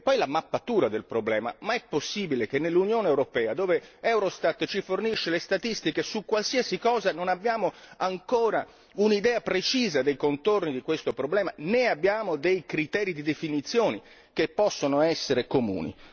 C'è poi la questione della mappatura del problema ma è possibile che nell'Unione europea, dove Eurostat ci fornisce statistiche su qualsiasi cosa, non abbiamo ancora un'idea precisa dei contorni di questo problema, né abbiamo criteri di definizione che possano essere comuni?